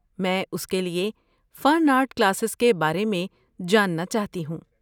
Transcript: میں اس کے لیے فن آرٹ کلاسز کے بارے میں جاننا چاہتی ہوں۔